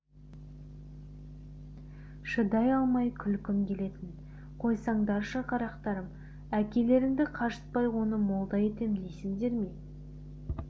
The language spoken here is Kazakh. шыдай алмай күлкім келетін қойсаңдаршы қарақтарым әкелеріңді қажытпай оны молда етем дейсіңдер ме